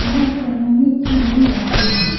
इलाज करवाने के लिए भी आते है।